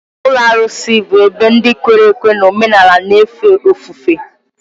Ụlọ arụsị bụ ebe ndị kwere ekwe n'omenala na-efe ofufe.